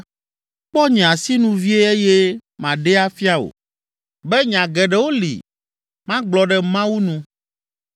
“Kpɔ nye asinu vie eye maɖee afia wò be nya geɖewo li magblɔ ɖe Mawu nu.